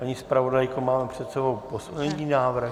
Paní zpravodajko, máme před sebou poslední návrh?